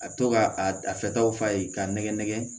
A bɛ to ka a fɛtaw f'a ye k'a nɛgɛ nɛgɛ